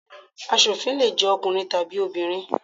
Asòfin le jẹ́ ọkùnrin tàbí obìnrin.